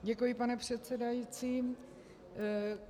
Děkuji, pane předsedající.